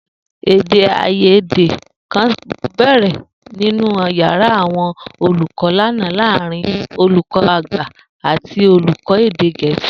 Èdè-àìyédè kan bè̩rè̩ nínú yàrá àwo̩n olùkó̩ lánàá láàárín olùkó̩ àgbà àti olùkó̩ èdè Gè̩é̩sì